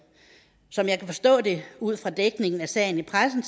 som jeg kan forstå det ud fra dækningen af sagen i pressen